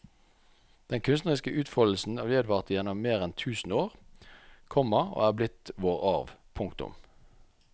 Den kunstneriske utfoldelsen vedvarte gjennom mer enn tusen år, komma og er blitt vår arv. punktum